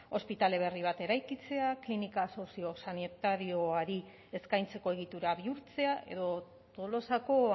ospitale berri bat eraikitzea klinika soziosanitarioari eskaintzeko egitura bihurtzea edo tolosako